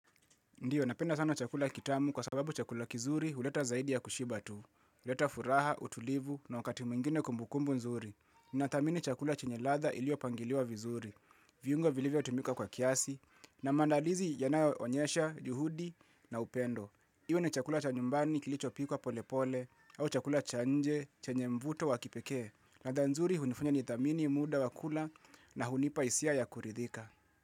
Ndiyo, napenda sana chakula kitamu kwa sababu chakula kizuri huleta zaidi ya kushiba tu. Huleta furaha, utulivu na wakati mwingine kumbukumbu nzuri. Ninathamini chakula chenye ladha iliopangiliwa vizuri. Viungo vilivyotumika kwa kiasi na maandalizi yanayoonyesha, juhudi na upendo. Iyo ni chakula cha nyumbani kilichopikwa polepole au chakula cha nje chenye mvuto wa kipekee. Latha nzuri hunifanya nithamini muda wa kula na hunipa hisia ya kuridhika.